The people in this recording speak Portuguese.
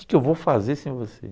Que que eu vou fazer sem você?